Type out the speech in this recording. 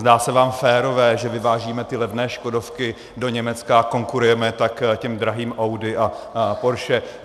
Zdá se vám férové, že vyvážíme ty levné škodovky do Německa a konkurujeme tak těm drahým Audi a Porsche?